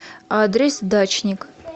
адрес дачник